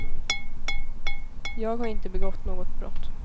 Jag har inte begått något brott.